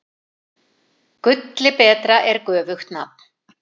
Gulli betra er göfugt nafn.